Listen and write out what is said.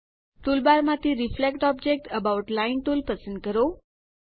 ટૂલબારમાંથી reflect object about line tool પસંદ કરો